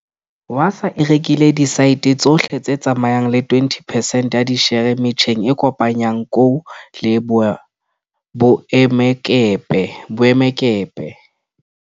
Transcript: Wasaa e rekile diasete tsohle tse tsamayang le 20 percent ya dishere metjheng e kopanyang kou le boemakepe.